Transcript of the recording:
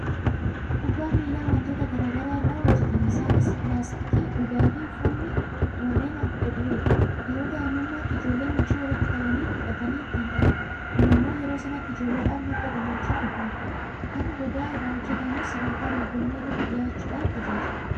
Kubbaan miilaa waantota garaa garaa irraa hojjetama. Isaanis laastikii, Gogaafi, Uffanni warreen adda dureedha. Yeroo daa'imummaatti ijoolleen huccuu walitti qabanii hodhatanii ittiin taphatu. Kun immoo yeroo sanatti ijoolleedhaaf madda gammachuu guddaa ta'a. Kan gogaa irraa hojjetamus sadarkaa dorgommii irratti dhiyaachuudhaan tajaajila.